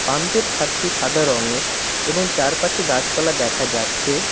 পাম্পের ছাদটি সাদা রঙের এবং চারপাশে গাছপালা দেখা যাচ্ছে।